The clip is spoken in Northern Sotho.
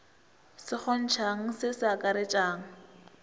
se kgontšhang se se akaretšang